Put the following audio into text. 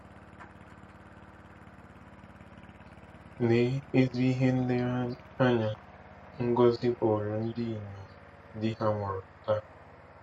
Lee ezi ihe nlereanya Ngozi bụụrụ ndị inyom di ha nwụrụ taa!